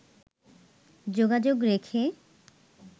যোগাযোগ রেখে